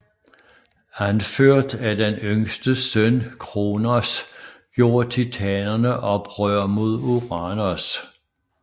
Anført af den yngste søn Kronos gjorde titanerne oprør mod Uranos